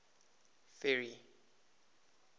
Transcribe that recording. ferry